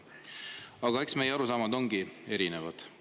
Aga eks meie arusaamad ongi erinevad.